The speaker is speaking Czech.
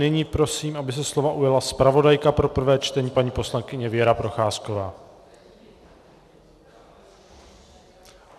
Nyní prosím, aby se slova ujala zpravodajka pro prvé čtení paní poslankyně Věra Procházková.